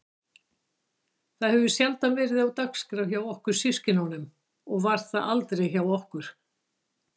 Það hefur sjaldan verið á dagskrá hjá okkur systkinunum og var það aldrei hjá okkur